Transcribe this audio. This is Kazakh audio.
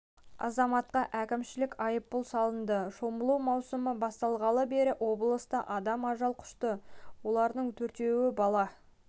азаматқа әкімшілік айыппұл салынды шомылу маусымы басталғалы бері облыста адам ажал құшты олардың төртеуі бала